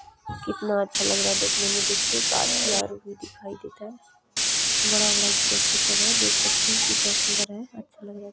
कितना अच्छा लग रहा है देखने में देखिये घाची ओर भी दिखाइ देत है बड़ा बड़ा घेची सब है देख सकते है कितना सुन्दर है अच्छा लग रहा है।